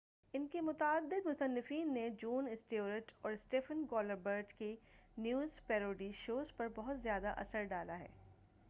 ان کے متعدد مصنفین نے جون اسٹیورٹ اور اسٹیفن کولبرٹ کی نیوز پیروڈی شوز پر بہت زیادہ اثر ڈالا ہے